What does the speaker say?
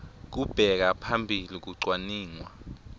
kubeka phambili kucwaningwa